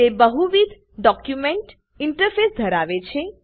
તે બહુવિધ document interface ધરાવે છે